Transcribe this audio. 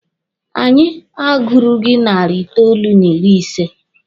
Anyị agurughi narị itoolu n'ịrị ise.